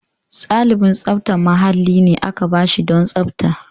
Ɗalibin tsaftar mahalli ne aka ba shi don tsafta.